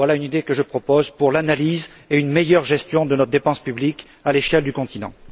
Voilà une idée que je propose pour l'analyse et une meilleure gestion de nos dépenses publiques à l'échelle du continent.